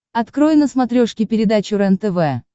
открой на смотрешке передачу рентв